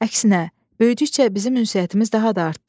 Əksinə, böyüdükcə bizim ünsiyyətimiz daha da artdı.